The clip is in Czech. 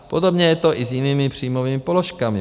Podobně je to i s jinými příjmovými položkami.